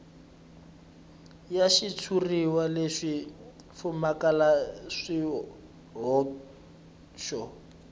ya xitshuriwa lexi pfumalaka swihoxo